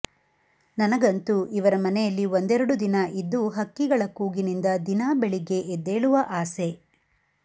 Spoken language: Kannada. ನನಗಂತೂ ಇವರ ಮನೆಯಲ್ಲಿ ಒಂದೆರಡು ದಿನ ಇದ್ದು ಹಕ್ಕಿಗಳ ಕೂಗಿನಿಂದ ದಿನಾ ಬೆಳಿಗ್ಗೆ ಎದ್ದೇಳುವ ಆಸೆ